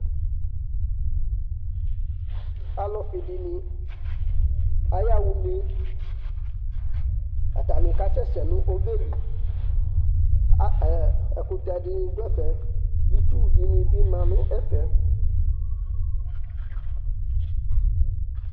Alʋfɩ dɩnɩ ayaɣa une Atanɩ kasɛsɛ nʋ ɔbɛ li A ɛɛ ɛkʋtɛ dɩnɩ dʋ ɛfɛ, itsu dɩnɩ bɩ ma nʋ ɛfɛ